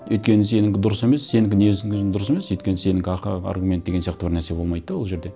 өйткені сенікі дұрыс емес сенікі не есің өзің дұрыс емес өйткені сенікі аргумент деген сияқты бір нәрсе болмайды да ол жерде